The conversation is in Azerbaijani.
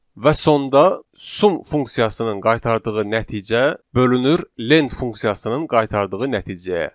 Və sonda sum funksiyasının qaytardığı nəticə bölünür len funksiyasının qaytardığı nəticəyə.